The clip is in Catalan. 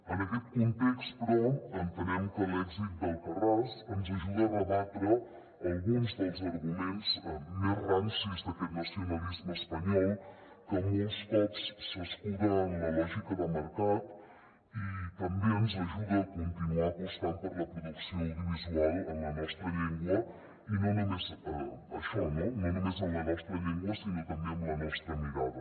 en aquest context però entenem que l’èxit d’dels arguments més rancis d’aquest nacionalisme espanyol que molts cops s’escu·da en la lògica de mercat i també ens ajuda a continuar apostant per la producció audio visual en la nostra llengua i no només això no no només en la nostra llen·gua sinó també amb la nostra mirada